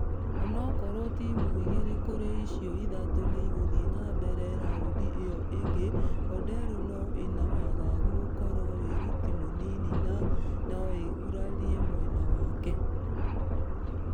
Onokorwo timũ igĩrĩ kũrĩ icio ithatũ niigũthie na mbere raundi ĩyo ĩngĩ . Odero nũ ĩna wagagu gũkorwo wĩruti mũnini na.....nũũgurarie mwena wake.